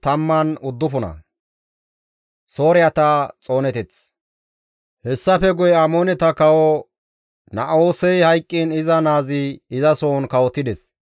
Hessafe guye Amooneta kawo Na7oosey hayqqiin iza naazi izasohon kawotides.